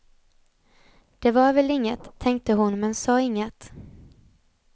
Det var väl inget, tänkte hon men sa inget.